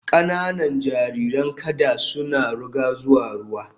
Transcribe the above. Kananan jariran kada sun ruga zuwa ruwa